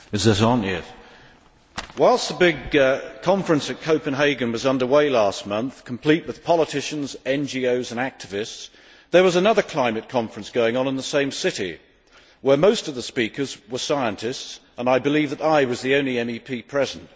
Mr President, whilst the big conference at Copenhagen was under way last month complete with politicians, NGOs and activists there was another climate conference going on in the same city, where most of the speakers were scientists, and I believe that I was the only MEP present.